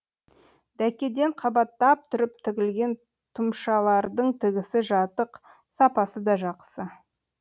дәкеден қабаттап тұрып тігілген тұмшалардың тігісі жатық сапасы да жақсы